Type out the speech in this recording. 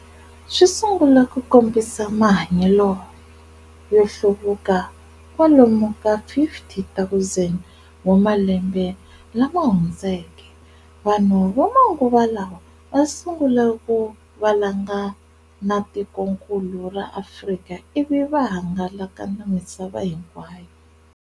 Swisungule ku kombisa mahanyelo yohluvuka kwalomu ka 50,000 wa malembe lamahundzeke. Vanhu vamanguva lawa vasungule ku valanga na tiko nkulu ra Afrika ivi va hangalaka na misava hinkwayo.